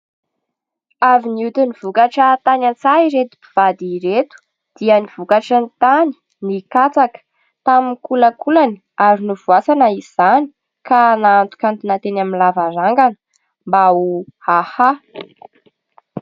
Avy nioty ny vokatra tany an-tsaha ireto mpivady ireto dia ny vokatry ny tany ; ny katsaka tamin'ny kolakolany ary novoasana izany ka nahantonkantona teny amin'ny lavarangana mba ho ahaha.